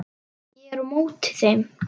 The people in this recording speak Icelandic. Ég er á móti þeim.